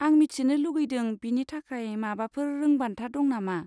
आं मिथिनो लुगैदों बिनि थाखाय माबाफोर रोंबान्था दं नामा?